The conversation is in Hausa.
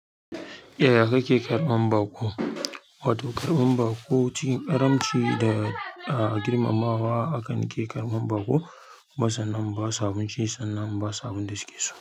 Yaya kake karban baƙo. Wato karban baƙo cikin ƙaramci da girmamawa haka an ke karban baƙo. Kuma sannan in basu abinci sannan in ba su abun da suke so.